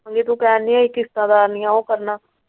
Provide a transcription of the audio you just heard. ਹਜੇ ਦੁਕਾਨ ਦੀਆ ਕਿਸ਼ਤਾਂ ਲਾਉਣੀਆਂ ਉਹ ਕਰਨਾ।